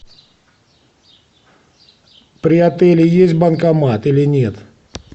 при отеле есть банкомат или нет